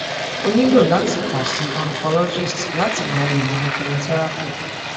o nilo lati kan si oncologist lati gba ilana ilana chemotherapy